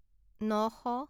নশ